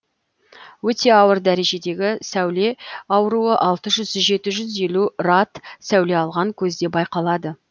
өте ауыр дәрежедегі сәуле ауруы алты жүз жеті жүз елу рад сәуле алған көзде байқалады